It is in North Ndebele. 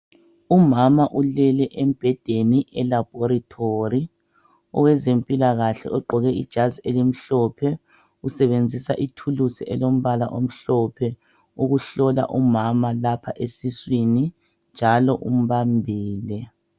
umama ulele embhedeni e laboratory owezempilakahle ogqoke ijazi elimhlophe usebenzisa ithulusi elombala omhlophe ukuhlola umama lapha esiswini njalo umbambile